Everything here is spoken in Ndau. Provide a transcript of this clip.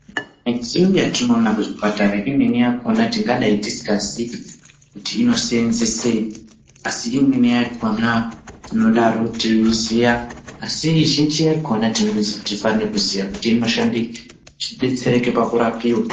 Midziyo yatinoona ku zvipatara imweni yakona tingadai tisika ziii kuti ino senzesei asi imweni yakona tinodaro teiziya asi zhinji yakona tinozi tifane kuziya kuti inoshandei kuti tidetsereke paku rapiwa.